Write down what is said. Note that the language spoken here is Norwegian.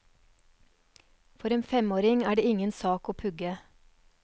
For en femåring er det ingen sak å pugge.